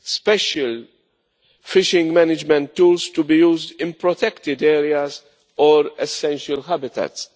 special fishing management tools to be used in protected areas or essential habitats.